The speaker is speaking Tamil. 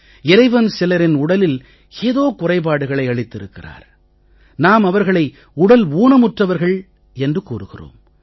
இறைவன் சிலரின் உடலில் ஏதோ குறைபாடுகளை அளித்திருக்கிறார் நாம் அவர்களை உடல் ஊனமுற்றவர்கள் என்று கூறுகிறோம்